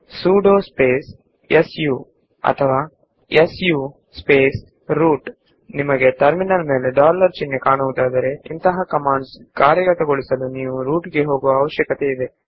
sudo su ಅಥವಾ su root ನಿಮಗೆ terminal ನಲ್ಲಿ ಒಂದು ಡಾಲರ್ ಸಿಂಬಲ್ ಕಾಣಿಸಿದರೆ ಆ ಕಮಾಂಡ್ ಗಳನ್ನು ಚಲಾಯಿಸಲು ನೀವು ಸಾಮಾನ್ಯ ಯೂಸರ್ ಆಗಿದ್ದರೆ ಸಾಕು